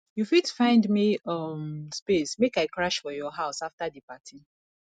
you fit find me um space make i crash for your house afta di party